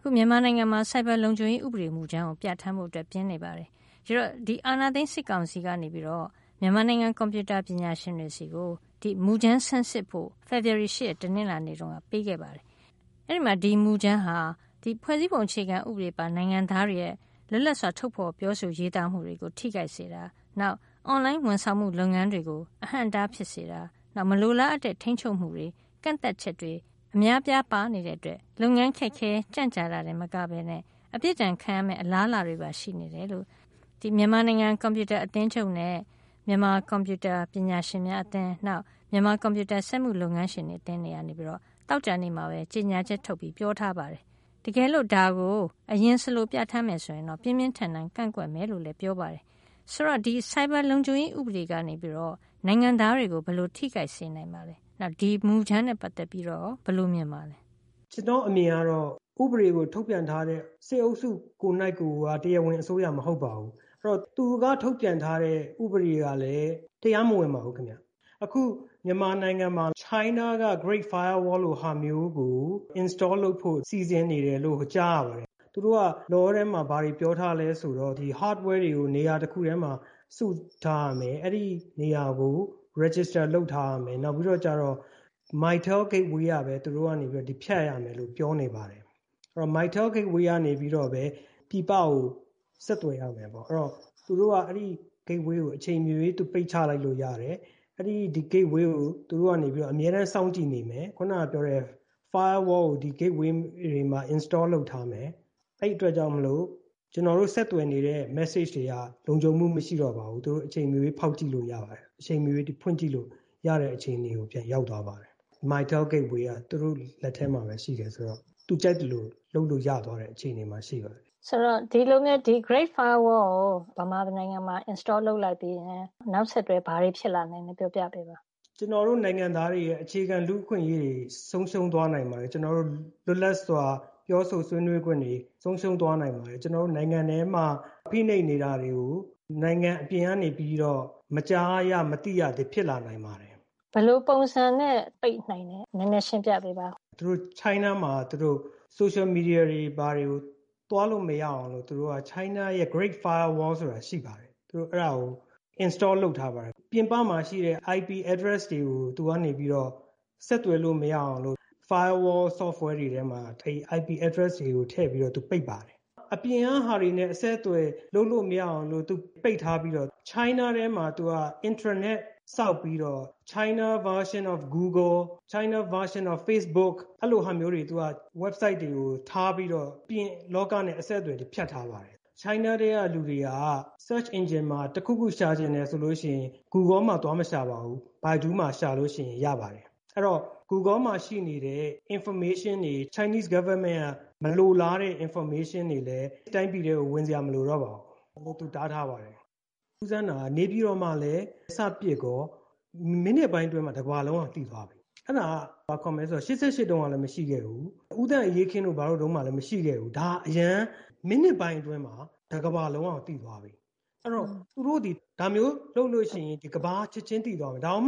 ခု မြန်မာနိုင်ငံမှာ Cyber လုံခြုံရေး ဥပအေမူကြမ်းကို ပြဌာန်းဖို့အတွက် ပြင်နေပါတယ်။ ဒီအာဏာသိမ်း စစ်ကောင်စီကနေပြီးတော့ မြန်မာနိုင်ငံ ကွန်ပြူတာပညာရှင်တွေဆီကို ဒီမူကြမ်းကို ဆန်းစစ်ဖို့ဖေဖော်ဝါရီလ ၈ ရက်က ပေးခဲ့ပါတယ်။ အဲဒီမှာ ဒီမူကြမ်းဟာ ဖွဲ့စည်းပုံအခြေခံဥပဒေပါ နိုင်ငံသားတွေရဲ့ လွတ်လပ်စွာပြောဆိုရေးသားမှုတွေကို ထိခိုက်စေတာ၊ နောက် online ဝန်ဆောင်မှု လုပ်ငန်းတွေကို အဟန့်အတား ဖြစ်စေတာ၊ မလိုအားအပ်တဲ့ ထိန်းချုပ်မှုတွေ အများအပြားပါနေတဲ့အတွက် လုပ်ငန်းတွေ ခက်ခဲ ကြန့်ကြာတာတင် မကပဲနဲ့ အပြစ်ဒဏ်ခံရမယ့် အလားအလာတွေပါရှိနေတယ်လို့ မြန်မာနိုင်ငံကွန်ပြူတာအသင်းချုပ်နဲ့ မြန်မာကွန်ပြူတာပညာရှင်များအသင်း၊ နောက်ပြီးတော့ မြန်မာကွန်ပြူတာ စက်မှုလုပ်ငန်းရှင်တွေအသင်းတွေကနေပြီးတော့ သောကြာနေ့မှာပဲ ကြေညာချက်ထုတ်ပြီး ပြောထားပါတယ်။ တကယ်လို့ဒါကိုအလျှင် ပြဌာန်းမယ်ဆိုရင်တော့ ပြင်းပြင်းထန်ထန်ကန့်ကွက်မယ်ဆိုပြီးတော့လည်း ပြောထားပါတယ်။ ဆိုတော့ ဒီ Cyber လုပ်ခြုံရေး ဥပဒေကနေပြီးတော့ နိုင်ငံသားတွေကို ဘယ်လို မျိုးထိခိုက်စေနိုင်ပါသလဲ။ နောက်ပြီး ဒီ မူကြမ်းနဲ့ပက်သက်ပြီးတော့ရော ဘယ်လို မြင်ပါလဲ။ ကိုရဲကျော် ။ ။ ကျနော့် အမြင်အရတော့ ဥပဒေကို ထုတ်ပြန်ထားတဲ့ စစ်အုပ်စုကိုယ်တိုင်ကိုယ်က တရားဝင်အစိုးရ မဟုတ်ပါဘူး။ အဲဒီတော့ သူက ထုတ်ပြန်ထားတဲ့ ဥပဒေကလည်း တရားမဝင်ပါဘူးခင်ဗျ။ အခုမြန်မာနိုင်မှာ China က Great Firewall လိုဟာမျိုးကို install လုပ်ဖို့စီစဉ်နေတယ်လို့ ကြားရပါတယ်။ သူတို့က Law ထဲမှာ ဘာတွေကို ပြောထားလဲဆိုတော့ Hardware ကို နေရာတခုထဲမှာ စုပြီးတော့ ထားရမယ်။ အဲဒီနေရာကို register လုပ်ထားရမယ်။ နောက်ပြီးတော့ Mytel Gateway ကနေပြီးတော့ပဲ ဖြတ်ရမယ် လို့ပြောနေတယ်။ Mytel Gateway ကနေပြီးတော့ပဲ ပြည်ပကို ဆက်သွယ်ရမယ့်ပေါ့။ နောက်ပြီးတော့လည်း သူတို့က အဲဒီ Gateway ကို အချိန်မရွေး ပိတ်ချလိုက်လို့ရတယ်။ အဲဒီ Gateway ကို သူတို့ကနေပြီးတော့ အမြဲတမ်းစောင့်ကြည့်နေမယ်။ ခုနကပြောတဲ့ Firewall ကို ဒီ Gateway တွေမှာ install လုပ်ထားမယ်။ အဲဒီအတွက်ကြောင့်မို့လို့ ကျနော်တို့ ဆက်သွယ်နေတဲ့ message တွေဟာ လုံခြုံမှု မရှိတော့ဘူး။ သူတို့အချိန်မရွေးဖောက်ကြည့်လို့ရပါတယ်။ သူတို့အချိန်မရွေးဖွင့်ကြည့်လို့ရတဲ့ အခြေအနေကို ပြန်ရောက်သွားပါတယ်။ Mytel Gateway ကသူတို့လက်ထဲမှာပဲ ရှိတယ်ဆိုတော့ သူတို့ကြိုက်သလို လုပ်လို့ရသွားတဲ့ အခြေအနေမှာရှိပါတယ်။ ဒေါ်ခင်မျိုးသက်။ ။ Great Firewall ကို မြန်မာနိုင်ငံမှာ install လုပ်လိုက်ပြီးရင် နောက်ဆက်တွဲ ဘာတွေဖြစ်လာနိုင်လဲ ပြောပြပေးပါလား။ ကိုရဲကျော် ။ ။ ကျနော်တို့မြန်မာနိုင်ငံသားတွေရဲ့ အခြေခံ လူ့အခွင့်အရေးတွေ ဆုံးရှုံးသွားနိုင်ပါတယ်။ ကျနော်တို့ရဲ့ လွတ်လပ်စွာ ပြောဆိုဆွေးနွေးခွင့်တွေ ဆုံးရှုံးသွားနိုင်ပါတယ်။ ကျနော်တို့နိုင်ငံထဲမှာ ဖိနှိပ်နေတာတွေကို နိုင်ငံအပြင်ကနေပြီး မကြားရ၊ မသိရတာတွေ ဖြစ်လာနိုင်ပါတယ်။ ဒေါ်ခင်မျိူးသက်။ ။ ဘယ်လိုပုံစံနဲ့ပိတ်နိုင်သလဲ နည်းနည်းရှင်းပြပေးပါဦး။ ကိုရဲကျော် ။ ။ China မှာ Social Media တွေ ဘာတွေကို သွားလို့မရအောင်လို့ သူတို့Great Firewall ဆိုတာ ရှိပါတယ်။ သူတို့အဲဒါကို install လုပ်ထားပါတယ်။ ပြင်ပမှာရှိတဲ့ IP address တွေကို သူကနေပြီးတော့ ဆက်သွယ်လို့မရအောင်ဆိုပြီး Firewall Software တွေထဲမှာ IP address တွေထည့်ပြီး သူတို့ပိတ်ပါတယ်။ အပြင်က ဟာတွေနဲ့သူတို့အဆက်အသွယ်လုပ်လို့မရအောင်ပိတ်ထားပြီးတော့ China ထဲမှာ သူတို့ Intranet ဆောက်ပြီးတော့ Chinese Version of Google, Chinese Version of Facebook အဲလိုဟာမျိုးတွေ၊ Website တွေကို ထားပြီးတော့ အပြင်လောကနဲ့အဆက်အသွယ်တွေကို ဖြတ်ထားပါတယ်။ China ထဲကလူတွေဟာ Search Engine မှာ တခုခုသူတို့ရှာချင်တယ်ဆိုလို့ရှိရင် Google မှာ သွားမရှာပါဘူး။ Baidu မှာရှာရင် ရပါတယ်။ အဲဒီတော့ Google မှာရှိနေတဲ့ information တွေ၊ Chinese Government က မလိုလားတဲ့ information တွေလည်း တိုင်းပြည်ထဲကို ဝင်စရာမလိုတော့ပါဘူး။ သူ့ဟာသူ တားထားပါတယ်။ ထူးဆန်းတာက နေပြည်တော်မှာလည်း စပစ်ကော မိနစ်ပိုင်းအတွင်းမှာ တကမ္ဘာလုံးက သိသွားပြီ။ အဲဒါက ဘာခေါ်မလဲဆိုတော့ ၈၈ တုန်းကလည်းမရှိခဲ့ဘူး။ ဦးသန့်အရေးအခင်းတို့ဘာတို့မှာလည်း မရှိခဲ့ဘူး။ ဒါ အရမ်းပဲ။ မိနစ်ပိုင်းအတွင်းမှာ တကမ္ဘာလုံးက သိသွားပြီ။ အဲဒီတော့ သူတို့သည် ဒါမျိုးလုပ်လို့ရှိရင်တော့ ကမ္ဘာက ချက်ချင်းသိသွားမယ်။ ဒါကြောင့်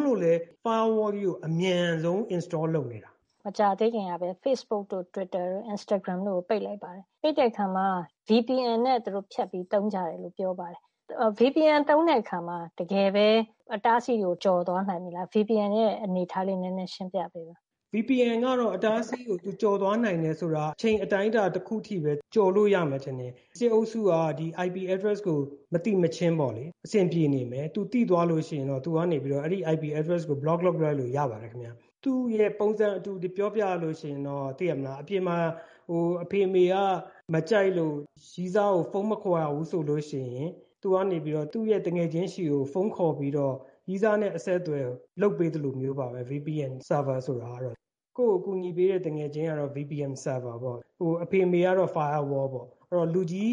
Firewall ကြီးကို အမြန်ဆုံး install လုပ်နေတာ။ ဒေါ်ခင်မျိုးသက်။ ။ မကြာသေးခင်ကပဲ Facebook တို့၊ Instagram တို့၊ Twitter တို့ကို ပိတ်လိုက်ပါတယ်။ ပိတ်ပြီးတဲ့အခါမှာ VPN နဲ့သူတို့ ဖြတ်ပြီးသုံးကြတယ်။ VPN သုံးတဲ့ အခါမှာ တကယ်ပဲ သူတို့က အတားအဆီးကို ကျော်သွားနိုင်လား။ VPN ရဲ့ အနေအထားလေး နည်းနည်းရှင်းပြပေးပါ။ ကိုရဲကျော် ။ ။ VPN က အတားအဆီးကို ကျော်သွားနိုင်တယ်ဆိုတာ အချိန်အတိုင်းအတာ အနည်းငယ်ပဲ ကျော်သွားလို့ရမယ်ထင်ပါတယ်။ စစ်အုပ်စုက ဒီ IP address ကို မသိမချင်းပေါ့လေ။ သူသိသွားလို့ရှိရင်တော့ အဲဒီ IP address ကို ဘလော့ လုပ်လိုက်လို့ရပါတယ်ခင်ဗျ။ သူ့ရဲ့ ပုံစံအတူတွေပြောပြရလို့ရှိရင်တော့ သိတယ်မဟုတ်လား အပြင်မှာ အဖေအမေက မကြိုက်လို့ရည်းစားကို ဖုန်းမခေါ်ရဘူးဆိုလို့ရှိရင် သူကနေပြီးတော့ သူ့ရဲ့ သူငယ်ချင်းဆီကို ဖုန်းခေါ်ပြီးတော့ ရည်းစားနဲ့အဆက်သွယ်လုပ်ပေးသလိုမျိုးပါပဲ VPN Server ဆိုတာကလေ။ ကိုယ့်ကို အကူအညီပေးတဲ့ သူငယ်ချင်းကတော့ VPN Server ပေါ့။ အဖေအမေကတော့ Firewall ပေါ့။ အဲဒီတော့ လူကြီး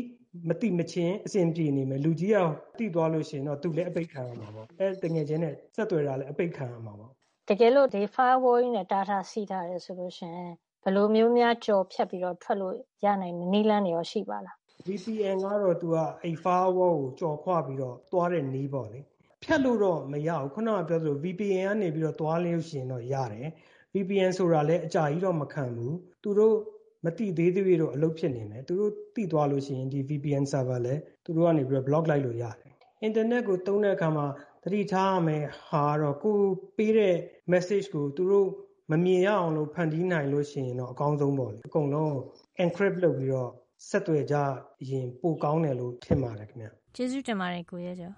မသိမချင်း အဆင်ပြေနေမယ်၊ လူကြီး သိသွားလို့ ရှိရင်တော့ သူလည်း အပိတ်ခံရမှာပေါ့။ သူ့ သူငယ်ချင်းနဲ့ ဆက်သွယ်နေတာလည်း အပိတ်ခံရမှာပေါ့။ ဒေါ်ခင်မျိုးသက် ။ ။ တကယ်လို့ ဒီ Firewall ကြီးနဲ့ တားထားဆီးထားတယ် ဆိုလို့ရှိရင် ဘယ်လိုမျိုး ကျော်ဖြတ်ပြီးတော့ ထွက်လို့ရနိုင်မယ့် နည်းလမ်းရော ရှိပါသလား။ ကိုရဲကျော် ။ ။ VPN ကတော့သူက အဲဒီ Firewall ကို ကျော်ခွပြီးတော့ သွားတဲ့နည်းပေါ့လေ။ ဖြတ်လို့တော့မရဘူး ခုနက ပြောသလို VPN ကနေ သွားလို့ရှိရင်ရတယ်။ VPN ဆိုတာလည်း အကြာကြီးတော့ မခံဘူး။ သူတို့ မသိသေးသ၍တော့ အလုပ်ဖြစ်နေမယ်၊ သူတို့ သိသွားလို့ရှိရင် ဒီ VPN ဆာဗာလည်း သူတို့က ပိတ်လိုက်လို့ရတယ်။ အင်တာနက်ကို သုံးတဲ့အခါမှာ သတိထားရမယ့်ဟာကတော့ ကိုယ်ပေးတဲ့ message ကို သူတို့မမြင်ရအောင်လို့ ဖန်တီးနိုင်လို့ရှိရင်တော့ အကောင်းဆုံးပေ့ါလေ။ အကုန်လုံးကို Encrypt လုပ်ပြီးတော့ ဆက်သွယ်ကြရင် ပိုကောင်းတယ်လို့ ထင်ပါတယ်ခင်ဗျာ။ ဒေါ်ခင်မျိုးသက် ။ ။ ကျေးဇူးတင်ပါတယ် ကိုရဲကျော်